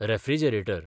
refrigerator